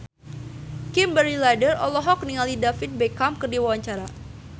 Kimberly Ryder olohok ningali David Beckham keur diwawancara